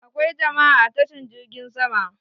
Akwai jama'a a tashan jirgin sama